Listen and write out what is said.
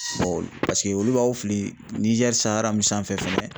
bɔ paseke olu b'aw fili Niger mun sanfɛ fɛnɛ